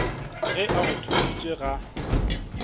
ge a go thušitše ga